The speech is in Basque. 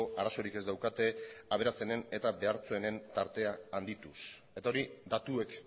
arazorik ez daukate aberatsenen eta behartsuenen tartea handituz eta hori datuek